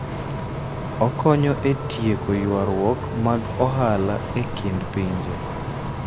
Okonyo e tieko ywaruok mag ohala e kind pinje.